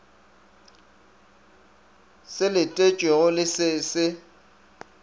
se letetšwego le se se